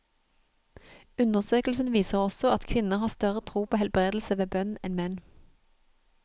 Undersøkelsen viser også at kvinner har større tro på helbredelse ved bønn enn menn.